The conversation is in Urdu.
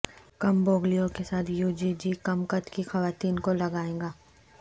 کم بوگلیوں کے ساتھ یو جی جی کم قد کی خواتین کو لگائے گا